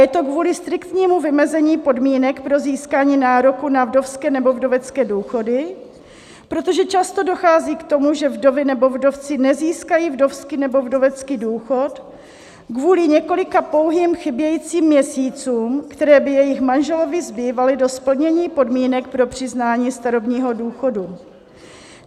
Je to kvůli striktnímu vymezení podmínek pro získání nároku na vdovské nebo vdovecké důchody, protože často dochází k tomu, že vdovy nebo vdovci nezískají vdovský nebo vdovecký důchod kvůli několika pouhým chybějícím měsícům, které by jejich manželovi zbývaly do splnění podmínek pro přiznání starobního důchodu.